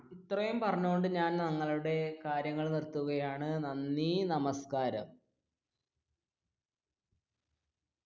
ഇത്രയും പറഞ്ഞുകൊണ്ട് ഞാൻ ഞങ്ങളുടെ കാര്യങ്ങൾ നിർത്തുകയാണ് നന്ദി നമസ്കാരം.